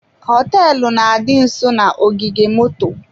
Hoteelu na-adị nsọ na-ogige moto.